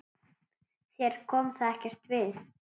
Þér kom það ekkert við!